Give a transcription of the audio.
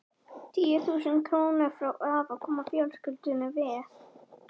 Tíu þúsund krónurnar frá afa koma fjölskyldunni vel.